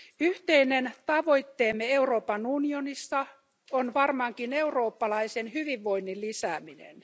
Yhteinen tavoitteemme Euroopan unionissa on varmaankin eurooppalaisen hyvinvoinnin lisääminen.